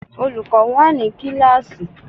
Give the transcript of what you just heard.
Olùkọ́ wà ní kíláàsì.